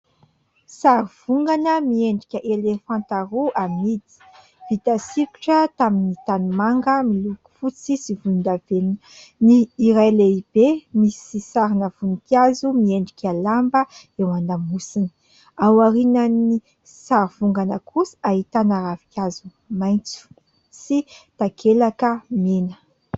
Sary vongana miendrika elefanta roa, amidy, vita sokitra tamin'ny tanimanga miloko fotsy sy volondavenona. Ny iray lehibe, misy sarina voninkazo miendrika lamba eo an-damosiny. Ao aorian'ny sary vongana kosa, ahitana ravinkazo maitso sy takelaka mena.